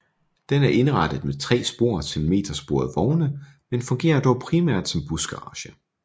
Den er indrettet med tre spor til metersporede vogne men fungerer dog primært som busgarage